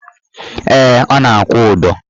Ee, ọ na-akwụ ụdọ